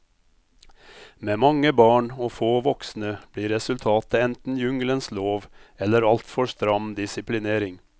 Med mange barn og få voksne blir resultatet enten jungelens lov eller altfor stram disiplinering.